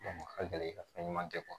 a ka gɛlɛn ka fɛn ɲuman kɛ